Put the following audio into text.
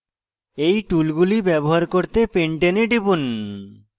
এই টুলগুলি ব্যবহার করতে pentane এ টিপুন